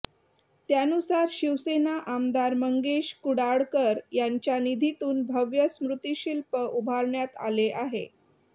त्यानुसार शिवसेना आमदार मंगेश कुडाळकर यांच्या निधीतून भव्य स्मृतिशिल्प उभारण्यात आले आहे